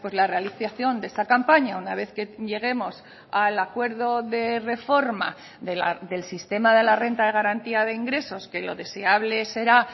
la realización de esta campaña una vez que lleguemos al acuerdo de reforma del sistema de la renta de garantía de ingresos que lo deseable será